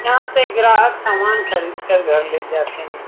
यहाँ से ग्राहक सामना खरीद के घर ले जाते हैं।